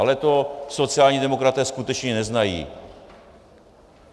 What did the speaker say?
Ale to sociální demokraté skutečně neznají.